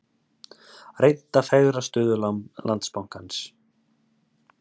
Reynt að fegra stöðu Landsbankans